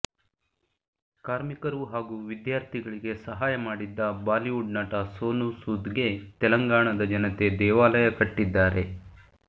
ಕಾರ್ಮಿಕರು ಹಾಗೂ ವಿದ್ಯಾರ್ಥಿಗಳಿಗೆ ಸಹಾಯ ಮಾಡಿದ್ದ ಬಾಲಿವುಡ್ ನಟ ಸೋನು ಸೂದ್ಗೆ ತೆಲಂಗಾಣದ ಜನತೆ ದೇವಾಲಯ ಕಟ್ಟಿದ್ದಾರೆ